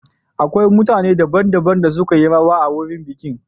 Akwai mutane daban-daban da suka yi rawa a wurin bikin.